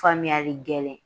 Faamuyali gɛlɛn